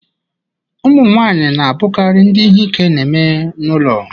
Ụmụ nwanyị na-abụkarị ndị ihe ike na-eme n'ụlọ